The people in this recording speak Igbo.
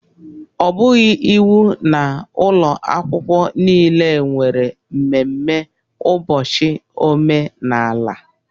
Ọ bụghị iwu na ụlọ akwụkwọ niile nwere mmemme ụbọchị omenala